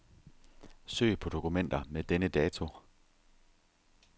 Søg på dokumenter med denne dato.